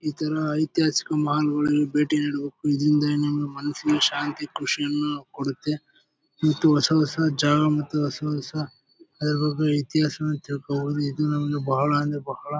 ಈ ತರ ಐತಿಹಾಸಿಕ ಮಾಲ್ ಗಳಿಗೆ ಭೇಟಿ ನೀಡಬೇಕು. ಇದರಿಂದ ಏನೋ ಮನಸಿಗೆ ಶಾಂತಿ ಖುಷಿಯನ್ನು ಕೊಡುತ್ತೆ. ಈ ತು ಹೊಸ ಹೊಸ ಜಾಗ ಮತ್ತು ಹೊಸ ಹೊಸ ಅದರ ಬಗ್ಗೆ ಇತಿಹಾಸನ ತಿಳ್ಕೊಬೇಕು. ಇದು ನಮಗೆ ಬಾಳ ಅಂದ್ರೆ ಬಾಳ --